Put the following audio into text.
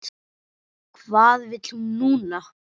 Hvað vill hún núna?